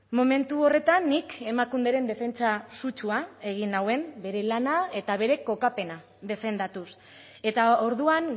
momentu horretan nik emakunderen defentsa sutsua egin nuen bere lana eta bere kokapena defendatuz eta orduan